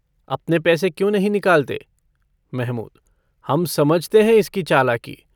अपने पैसे क्यों नहीं निकालते? महमूद - हम समझते हैं इसकी चालाकी।